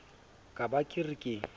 ka ba ke re ke